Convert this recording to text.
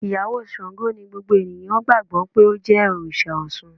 Ìyàwó Sango ni gbogbo ènìyàn gbàgbó pé ó jẹ́ Òrìsà Osun.